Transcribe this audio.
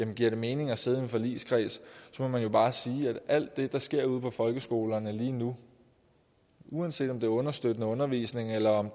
det giver mening at sidde i en forligskreds må man jo bare sige at alt det der sker ude på folkeskolerne lige nu uanset om det er understøttende undervisning eller